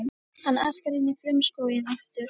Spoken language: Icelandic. Hann arkar inn í frumskóginn aftur.